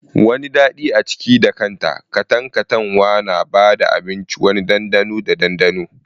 Wani dadi a ciki da kanta, katantanwa na ba da abinci wani ɗanɗano da dandano.